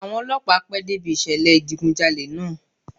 Àwọn Ọlọ́pàá pẹ́ dé ibi ìṣẹ̀lẹ̀ ìdigun jalè náà.